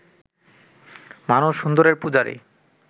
মানুষ সুন্দরের পূজারি